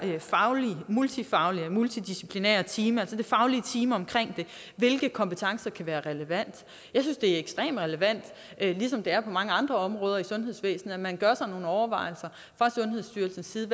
multifaglige og multidisciplinære team altså det faglige team omkring det hvilke kompetencer kan være relevante jeg synes det er ekstremt relevant ligesom det er det på mange andre områder i sundhedsvæsenet at man gør sig nogle overvejelser fra sundhedsstyrelsens side